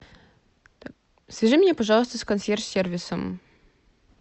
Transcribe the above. свяжи меня пожалуйста с консьерж сервисом